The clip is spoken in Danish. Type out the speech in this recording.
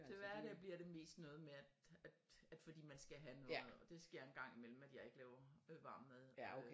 Til hverdag bliver det mest noget med at at at fordi man skal have noget og det sker en gang imellem at jeg ikke laver varm mad